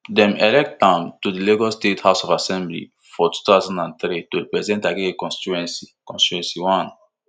dem elect am to di lagos state house of assembly for two thousand and three to represent agege constituency constituency one